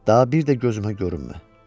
Daha bir də gözümə görünmə.